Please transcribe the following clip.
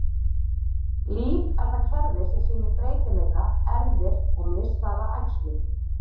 Líf er það kerfi sem sýnir breytileika, erfðir, og mishraða æxlun.